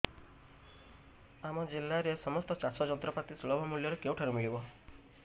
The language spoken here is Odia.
ଆମ ଜିଲ୍ଲାରେ ସମସ୍ତ ଚାଷ ଯନ୍ତ୍ରପାତି ସୁଲଭ ମୁଲ୍ଯରେ କେଉଁଠାରୁ ମିଳିବ